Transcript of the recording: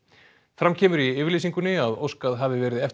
fram kemur í yfirlýsingunni að óskað hafi verið eftir